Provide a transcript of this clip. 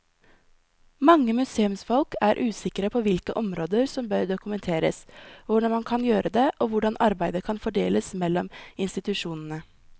Mange museumsfolk er usikre på hvilke områder som bør dokumenteres, hvordan man kan gjøre det og hvordan arbeidet kan fordeles mellom institusjonene.